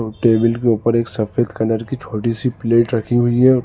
Table के ऊपर एक सफेद कलर की छोटी सी प्लेट रखी हुई है।